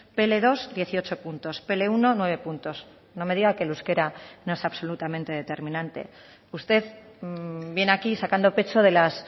pe ele dos dieciocho puntos pe ele uno nueve puntos no me diga que el euskera no es absolutamente determinante usted viene aquí sacando pecho de las